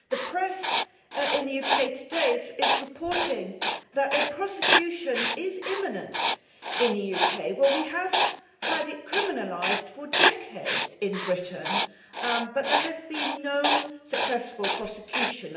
The press in the UK today is reporting that prosecution is imminent in the UK. Well, we have had it criminalised for decades in Britain, but there have been no successful prosecutions.